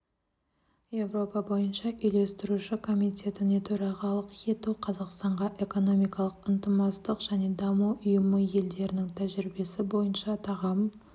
еуропа бойынша үйлестіруші комитетіне төрағалық ету қазақстанға экономикалық ынтымақтастық және даму ұйымы елдерінің тәжірибесі бойынша тағам